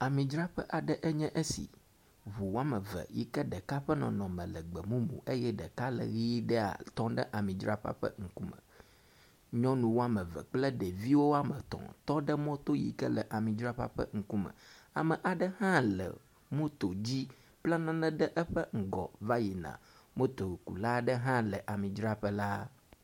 Amidzraƒe aɖe nye esi. Ŋu wɔme eve yike ɖeka ƒe nɔnɔme le gbɔmumu eye ɖeka le ʋi ɖea tɔ ɖe amidzraƒea ƒe ŋkume. Nyɔnu wɔme eve kple ɖeviwo wɔme etɔ̃ tɔ ɖe mɔto yike le amidzraƒea ƒe ŋkume. Ame aɖe hã le moto dzi bla nane ɖe eƒe ŋgɔ va yin a. motokula aɖe hã le amidzraƒe la.